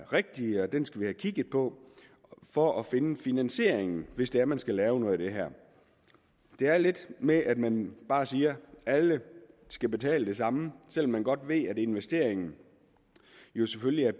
rigtige og den skal vi have kigget på for at finde finansieringen hvis det er man skal lave noget af det her det er lidt med at man bare siger at alle skal betale det samme selv om man godt ved at investeringen jo selvfølgelig er